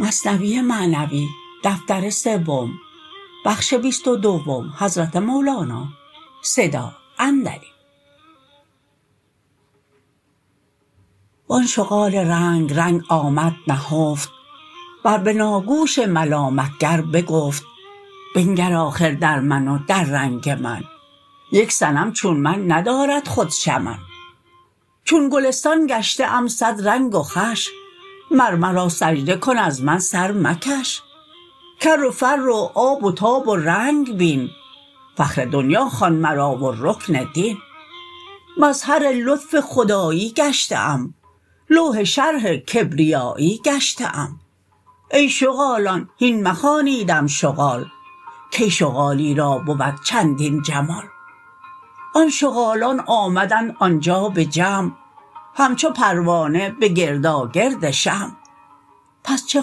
و آن شغال رنگ رنگ آمد نهفت بر بناگوش ملامت گر بکفت بنگر آخر در من و در رنگ من یک صنم چون من ندارد خود شمن چون گلستان گشته ام صد رنگ و خوش مر مرا سجده کن از من سر مکش کر و فر و آب و تاب و رنگ بین فخر دنیا خوان مرا و رکن دین مظهر لطف خدایی گشته ام لوح شرح کبریایی گشته ام ای شغالان هین مخوانیدم شغال کی شغالی را بود چندین جمال آن شغالان آمدند آنجا به جمع همچو پروانه به گرداگرد شمع پس چه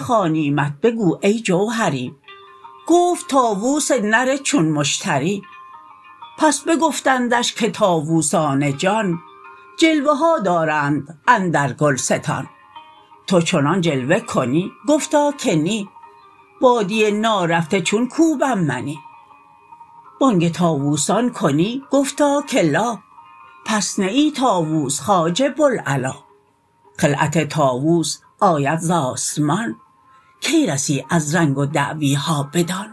خوانیمت بگو ای جوهری گفت طاوس نر چون مشتری پس بگفتندش که طاوسان جان جلوه ها دارند اندر گلستان تو چنان جلوه کنی گفتا که نی بادیه نارفته چون کوبم منی بانگ طاووسان کنی گفتا که لا پس نه ای طاووس خواجه بوالعلا خلعت طاووس آید ز آسمان کی رسی از رنگ و دعویها بدان